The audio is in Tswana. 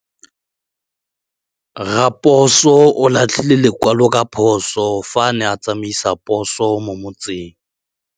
Raposo o latlhie lekwalô ka phosô fa a ne a tsamaisa poso mo motseng.